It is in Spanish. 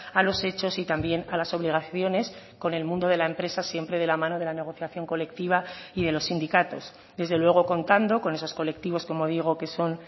a los hechos y también a las obligaciones con el mundo de la empresa siempre de la mano de la negociación colectiva y de los sindicatos desde luego contando con esos colectivos como digo que son